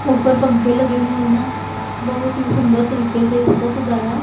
ऊपर पंखे लगे हुए हैं बहुत ही सुंदर तरीके से इसको सजाया--